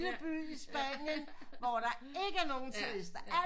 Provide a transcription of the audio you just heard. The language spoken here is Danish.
By i spanien hvor der ikke er nogen